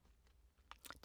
DR1